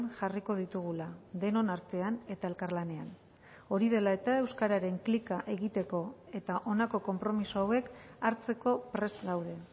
jarriko ditugula denon artean eta elkarlanean hori dela eta euskararen klika egiteko eta honako konpromiso hauek hartzeko prest gaude